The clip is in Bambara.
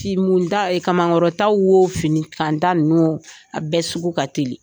Finimuta wo kamankɔrɔta wo finikanta ninnu wo a bɛɛ sugu ka teli